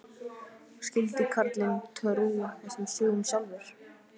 Skyldi karlinn trúa þessum sögum sjálfur?